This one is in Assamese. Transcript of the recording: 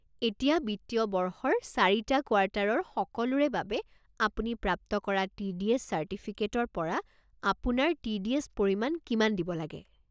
এতিয়া বিত্তীয় বৰ্ষৰ ৪টা কোৱাৰ্টাৰৰ সকলোৰে বাবে আপুনি প্ৰাপ্ত কৰা টি ডি এছ চাৰ্টিফিকেটৰ পৰা আপোনাৰ টি ডি এছ পৰিমাণ কিমান দিব লাগে।